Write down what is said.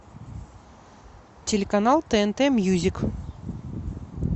телеканал тнт мьюзик